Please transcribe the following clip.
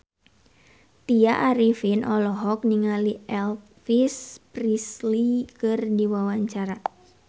Tya Arifin olohok ningali Elvis Presley keur diwawancara